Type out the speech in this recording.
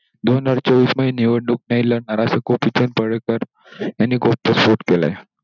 दोन हजार चोवीस मध्ये निवडणूक नाही लढणार असं गोपीचंद बेलेकर यांनी खुद्द घोषित केलंय.